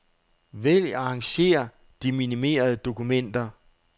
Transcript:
Vælg arrangér de minimerede dokumenter.